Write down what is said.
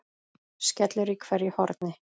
skellur í hverju horni.